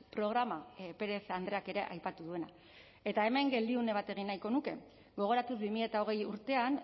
programa perez andreak ere aipatu duena eta hemen geldiune bat egin nahiko nuke gogoratu bi mila hogei urtean